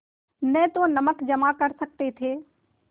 न तो नमक जमा कर सकते थे